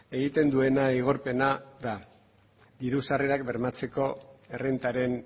egiten duena igorpena da diru sarrerak bermatzeko errentaren